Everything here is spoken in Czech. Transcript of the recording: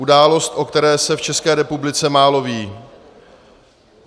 Událost, o které se v České republice málo ví.